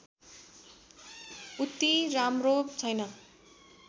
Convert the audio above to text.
उति राम्रो छैन